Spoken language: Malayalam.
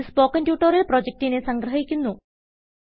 ഇതു സ്പോകെൻ ട്യൂട്ടോറിയൽ പ്രൊജക്റ്റിനെ സംഗ്രഹിക്കുന്നു